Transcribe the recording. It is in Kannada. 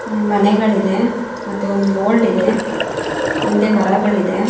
ಮನೆಗಳು ಇದೆ ಮತ್ತೆ ಒಂದು ಬೋಲ್ಡ್ ಇದೆ ಹಿಂದೆ ಮರಗಳು ಇದೆ.